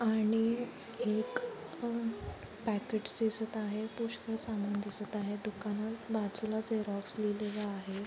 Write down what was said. आणि एक अह पॅकेट्स चे आहे. पुष्कळ सामान दिसत आहे. दुकानात बाजूला झेरॉक्स लिहिलेलं आहे.